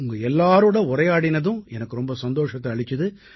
உங்க எல்லாரோட உரையாடினதும் எனக்கு ரொம்ப சந்தோஷத்தை அளிச்சுது